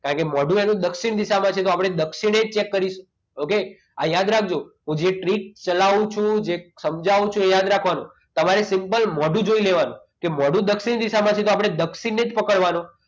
કારણ કે મોઢું એનું દક્ષિણ દિશામાં છે તો દક્ષિણે cheak કરીશું okay આ યાદ રાખજો હું જે ટ્રીક ચલાવું છું જે સમજાવું છું એ યાદ રાખવાનું તમારે simple મોઢું જોઈ લેવાનું કે મોઢું દક્ષિણ દિશામાં છે તો આપણે દક્ષિણને જ પકડવાનું